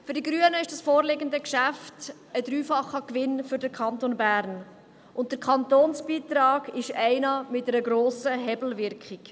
Für die Grünen ist das vorliegende Geschäft ein dreifacher Gewinn für den Kanton Bern, und der Kantonsbeitrag ist einer mit einer grossen Hebelwirkung.